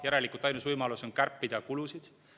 Järelikult ainus võimalus on kärpida kulusid.